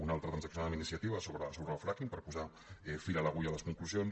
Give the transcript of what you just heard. una altra transaccionada amb iniciativa sobre el fracking per posar fil a l’agulla a les conclusions